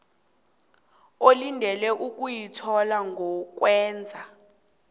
olindele ukuyithola ngokwenza